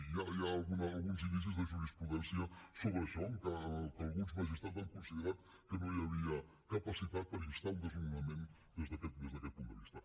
ja hi ha alguns indicis de jurisprudència sobre això que alguns magistrats han considerat que no hi havia capacitat per instar un desnonament des d’aquest punt de vista